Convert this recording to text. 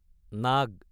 নাগ